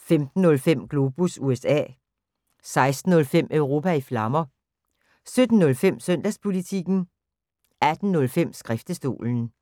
15:05: Globus USA 16:05: Europa i Flammer 17:05: Søndagspolitikken 18:05: Skriftestolen